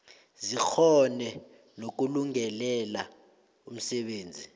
zikghone nokulungelela umsebenzi